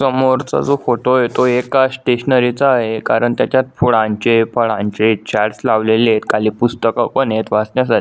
समोर चा जो फोटो आहे तो एका स्टेशनरीचा आहे कारण त्याच्यात फुलांचे फळांचे चार्ट्स लावलेले आहेत खाली पुस्तकं पण आहेत वाचण्यासाठी--